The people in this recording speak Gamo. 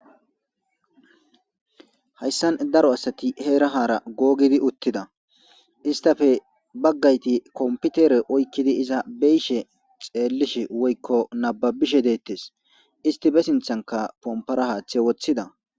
Hayisan daro asati heera haara googidi uttida istafe baggayti kompitere oykkidi iza beyishe xeellish woyiko nababishe deettes isti be sinthanka pompara haaththe wothida